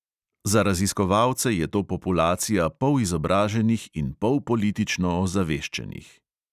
Za raziskovalce je to populacija polizobraženih in polpolitično ozaveščenih.